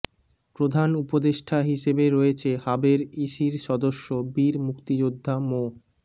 প্রধান উপদেষ্টা হিসেবে রয়েছে হাবের ইসির সদস্য বীর মুক্তিযোদ্ধা মো